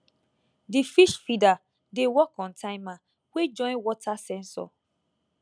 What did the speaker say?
di fish feeder dey work on timer wey join water sensor